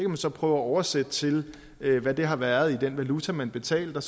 man så prøve at oversætte til hvad det har været i den valuta man betalte